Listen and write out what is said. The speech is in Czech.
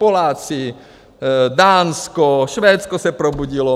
Poláci, Dánsko, Švédsko se probudilo.